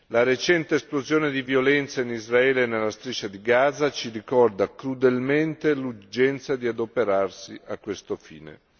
La recente esplosione di violenza in Israele e nella Striscia di Gaza ci ricorda crudelmente l'urgenza di adoperarsi a tal fine.